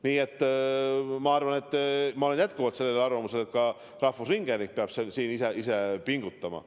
Nii et ma olen jätkuvalt sellel arvamusel, et ka rahvusringhääling peab ise pingutama.